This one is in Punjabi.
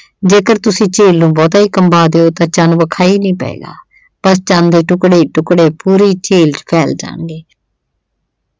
ਜੇਕਰ ਤੁਸੀਂ ਝੀਲ ਨੂੰ ਬਹੁਤਾ ਹੀ ਕੰਬਾ ਦਿਓ ਤਾਂ ਚੰਨ ਵਿਖਾਈ ਨਹੀਂ ਪਏਗਾ, ਪਰ ਚੰਨ ਦੇ ਟੁਕੜੇ-ਟੁਕੜੇ ਪੂਰੀ ਝੀਲ ਚ ਫੈਲ ਜਾਣਗੇ।